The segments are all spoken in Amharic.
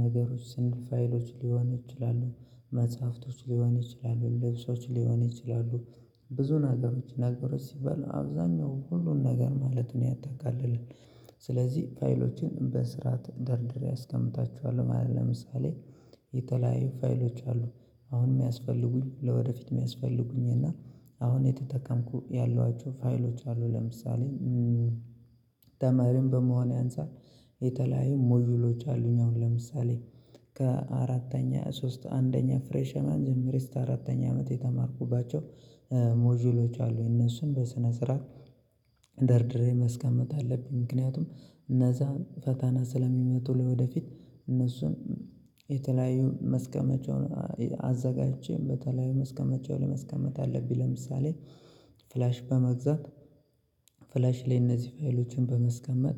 ነገሮች ስንት ፋይሎች ሊሆን ይችላሉ መጽሐፍቶች ሊሆን ይችላሉ ልብሶች ሊሆኑ ይችላሉ ብዙ ነገሮች ነገሮች ሲባሉ አብዛኛው ሁሉን ነገር ማለት ነው ያጠቃልላል። ስለዚህ ፋይሎችን በስርዓት ደርድሬ አስቀምጣችኋለሁ ማለት ለምሳሌ። የተለያዩ ፋይሎች አሉ አሁን የሚያስፈልጉኝ ለወደፊት የሚያስፈልጉኝ እና አሁን የተጠቀምኩ ያሏቸው ፋይሎች አሉ ለምሳሌ። ተማሪም በመሆኔ አንፃር የተለያዩ ሞጁሎች አሉኝ አሁን ለምሳሌ ከአራተኛ ሶስት አንደኛ ፍሬሽ ማን ጀምሬ እስተ አራተኛ አመት የተማርኩባቸው ሞጁሎች አሉ እነሱም በስነ ስርዓት። ደርድሬ ማስቀመጥ አለብኝ ምክንያቱም እነዛን ፈታና ስለሚመጡ ለወደፊት እነሱን የተለያዩ መስቀመጫውን አዘጋጅቼ በተለያዩ መስቀመጫው ላይ መስቀመጥ አለብኝ። ለምሳሌ ፍላሽ በመግዛት ፍላሽ ላይ እነዚህ ፋይሎችን በመስቀመጥ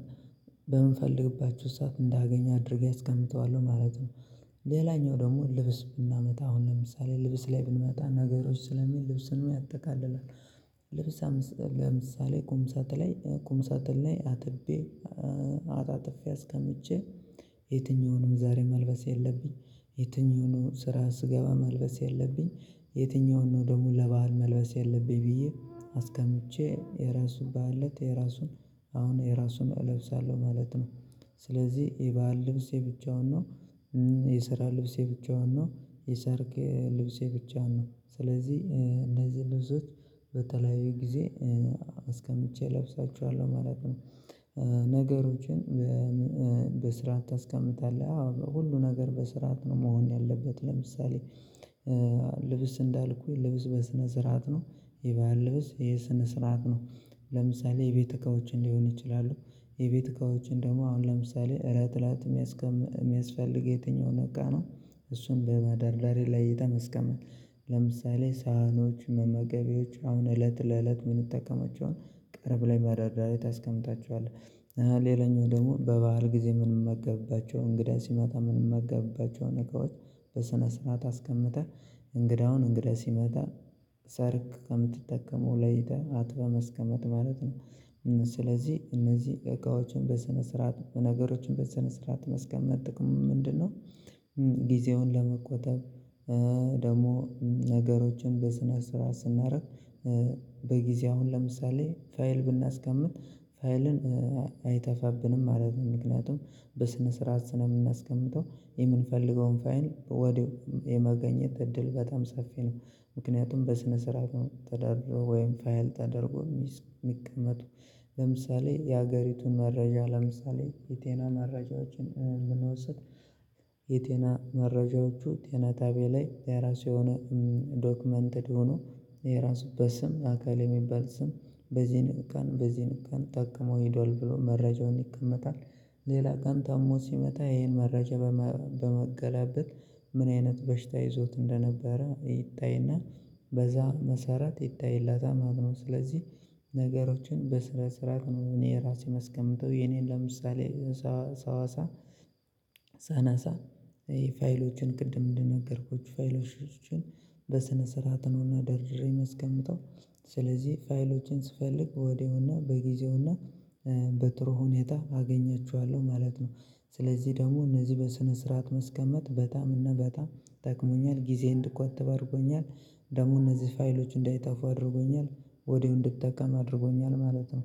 በምንፈልግባችሁ ሰዓት እንዳገኝ አድርጌ አስቀምጠዋለሁ ማለት ነው። ሌላኛው ደግሞ ልብስ ብናመጣ አሁን ለምሳሌ ልብስ ላይ ብንመጣ ነገሮች ስለሚል ልብስን ያጠቃልላል። ልብስ ለምሳሌ ቁምሳት ላይ ቁምሳጥን ላይ አጥቤ አጣጥፌ አስቀምጬ የትኛው ነው ዛሬ መልበስ ያለብኝ የትኛው ነው ስራ ስገባ መልበስ ያለብኝ የትኛውን ነው ደግሞ ለበአል መልበስ ያለብኝ ብዬ አስቀምቼ የራሱ በዓለት የራሱን አሁን የራሱን እለብሳለሁ ማለት ነው። ስለዚህ የበአል ልብስ የብቻውን ነው። የሰራ ልብሴ ብቻውን ነው የሰርግ ልብስ የብቻውን ነው ስለዚህ እነዚህ ልብሶች በተለያዩ ጊዜ አስቀምጬ እለብሳችኋለሁ ማለት ነው። ነገሮችን በስርዓት ታስቀምጣለህ አዎ ሁሉ ነገር በስርዓት ነው መሆን ያለበት ለምሳሌ። ልብስ እንዳልኩኝ ልብስ በስነ ስርዓት ነው። የበአል ልብስ ይሄ ስነ ስርዓት ነው። ለምሳሌ የቤት እቃዎችን ሊሆን ይችላሉ። የቤት እቃዎችን ደግሞ አሁን ለምሳሌ እለት እለት የሚያስቀምጥ የሚያስፈልግ የትኛውን እቃ ነው? እሱን በመደርዳሬ ላይ የተመስቀመ ለምሳሌ ሳህኖች መመገቢያዎች አሁን እለት ለእለት የምንጠቀማቸውን ቅርብ ላይ መደርደርያ ታስቀምጣቸዋለህ ሌላኛው ደግሞ በበዓል ጊዜ የምንመገብባቸው እንግዳ ሲመጣ የምንመገብባቸው ነገሮች በስነ ስርዓት አስቀምጠን እንግዳውን እንግዳ ሲመጣ ሰርግ ከምትጠቀመው ለይተህ አጥበህ መስቀመጥ ማለት ነው። ስለዚህ እነዚህ እቃዎችን በስነ ስርዓት ነገሮችን በስነ ስርዓት መስቀመጥ ጥቅሙ ምንድነው? ጊዜውን ለመቆጠብ። ደግሞ ነገሮችን በስነ ስርዓት ስናደርግ በጊዜ አሁን ለምሳሌ ፋይል ብናስቀምጥ ፋይልን አይጠፋብንም ማለት ነው። ምክንያቱም በስነ ስርዓት ስለምናስቀምጠው የምንፈልገውን ፋይል ወዲያው የመገኘት እድል በጣም ሰፊ ነው። ምክንያቱም በስነ ስርዓት ነው ተዳድሮ ወይም ፋይል ተደርጎ የሚቀመጡ ለምሳሌ የሀገሪቱን መረጃ ለምሳሌ የጤና መረጃዎችን ብንወስድ የጤና መረጃዎቹ ጤና ጣብያ ላይ የራሱ የሆነ ዶክመንትድ ሆኖ የራሱ በስም አካል የሚባል ስም በዚህን ቀን በዚህ ቀን ተጠቅሞ ሄዷል ብሎ መረጃውን ይቀመጣል። ሌላ ቀን ታሞ ሲመጣ ይሄን መረጃ በመገላበጥ ምን አይነት በሽታ ይዞት እንደነበረ ይታይና በዛ መሰረት ይታይለታል ማለት ነው። ስለዚህ ነገሮችን በስነስርዓት እኔ ራሴን የማስቀምጠው የኔን ለምሳሌ ሰዋሳ ሳነሳ ይሄ ፋይሎችን ቅድም እንደነገርኩት ፋይሎችን በስነ ስርዓት ነውና ደርድሬ የማስቀምጠው ስለዚህ ፋይሎችን ስፈልግ ወዲያውና በጊዜውና በጥሩ ሁኔታ አገኛችኋለሁ ማለት ነው። ስለዚህ ደግሞ እነዚህ በስነ ስርዓት መስቀመጥ በጣም እና በጣም ጠቅሞኛል ጊዜ እንድቆጥብ አድርጎኛል ደግሞ እነዚህ ፋይሎች እንዳይጠፉ አድርጎኛል ወድያው እንድጠቀም አድርጎኛል ማለት ነው